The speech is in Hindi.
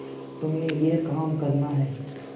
तुम्हें यह काम करना है